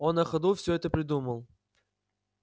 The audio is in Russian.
он на ходу все это придумал